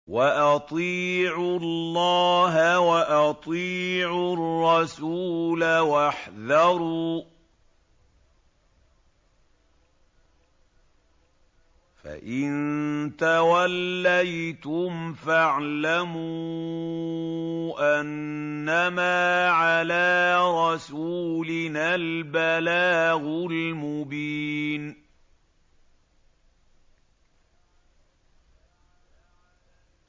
وَأَطِيعُوا اللَّهَ وَأَطِيعُوا الرَّسُولَ وَاحْذَرُوا ۚ فَإِن تَوَلَّيْتُمْ فَاعْلَمُوا أَنَّمَا عَلَىٰ رَسُولِنَا الْبَلَاغُ الْمُبِينُ